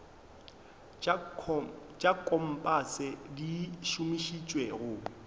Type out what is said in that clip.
tša kompase di šomišetšwa go